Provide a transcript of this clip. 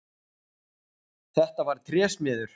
Þetta var trésmiður.